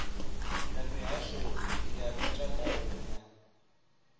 na mihasho ya mutakalo na